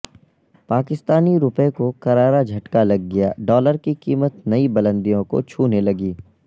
پاکستانی روپے کو کرارا جھٹکا لگ گیا ڈالر کی قیمت نئی بلندیوں کو چھونے لگی